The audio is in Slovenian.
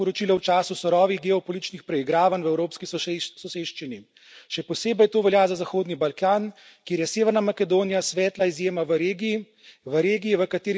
Gre za povsem napačno sporočilo v času surovih geopolitičnih preigravanj v evropski soseščini, še posebej to velja za Zahodni Balkan, kjer je Severna Makedonija svetla izjema v regiji.